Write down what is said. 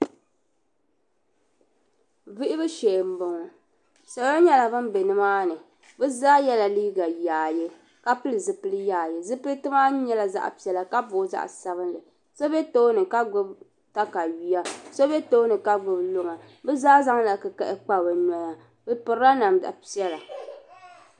Vuhibu shee m bɔŋɔ salo nyɛla ban be nimaani bɛ zaa yɛla liiga yaaye ka pili zupil yaayezupilti maa nyɛla zaɣ piɛla ka booi zaɣ sabila so be tooni ka gbubi takayuya so be tooni ka gbubi luŋa bɛ zaa zaŋla kikahi kpa bɛ noya bɛ pirila namda piɛla